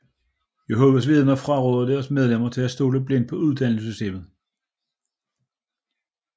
Jehovas Vidner fraråder deres medlemmer at stole blindt på uddannelsessystemer